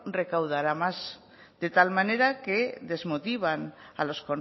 recaudará más de tal manera que desmotivan a los